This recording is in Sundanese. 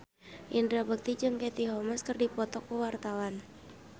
Indra Bekti jeung Katie Holmes keur dipoto ku wartawan